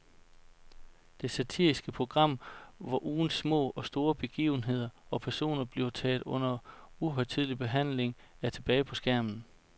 Det satiriske program, hvor ugens små og store begivenheder og personer bliver taget under uhøjtidelig behandling, er tilbage på skærmen.